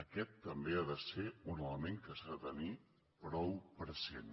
aquest també ha de ser un element que s’ha de tenir prou present